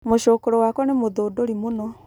Mũcũkũrũ wakwa nĩ mũthundũri mũno